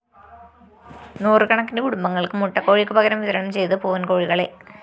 നൂറുകണക്കിന് കുടുംബങ്ങള്‍ക്ക് മുട്ടക്കോഴിക്ക് പകരം വിതരണം ചെയ്തത് പൂവന്‍കോഴികളെ